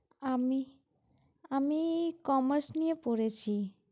আমি আমি commerce নিয়ে পড়েছি।